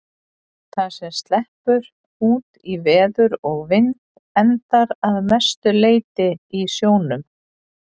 Það sem sleppur út í veður og vind endar að mestu leyti í sjónum.